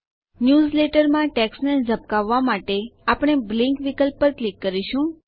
ન્યૂઝલેટરમાં ટેક્સ્ટને ઝબકાવવા માટે આપણે બ્લિંક વિકલ્પ પર ક્લિક કરીશું